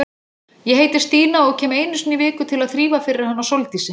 Ég heiti Stína og kem einu sinni í viku til að þrífa fyrir hana Sóldísi.